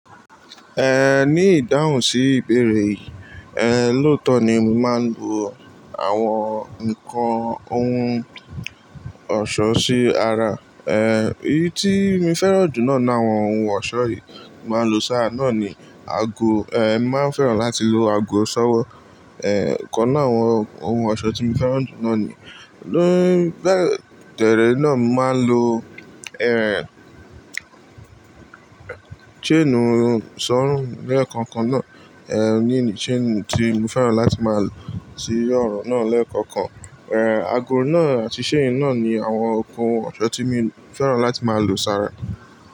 Ehn, ní ìdáhùn sí ìbéèrè yìí, ehn, lóòótọ́ ni mí máa ń bu àwọn nnkan ohun ọ̀ṣọ́ sí ara. Ehn, èyí tí mo fẹ́ràn jù lọ ní àwọn ohun ọ̀ṣọ́ yìí mo máa ń lo sáà náà ni ago, ehn, màá fẹ́ràn láti lo ago ṣọ́wọ́. Ehn, kan náà àwọn ohun ọ̀ṣọ́ tí mo fẹ́ràn jù náà ni. Lórí tẹ̀ré náà, màá ń lo, ehn, chain sọ́rún lẹ́ẹ̀kọ̀kan náà. Ehn, ní chain tí mo fẹ́ràn láti máa lo sí ọrùn náà lẹ́ẹ̀kọ̀kan. Ehn, ago náà àti chain náà ni àwọn okùn ọ̀ṣọ́ tí mo fẹ́ràn láti máa lo sára.